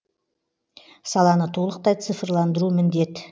саланы толықтай цифрландыру міндет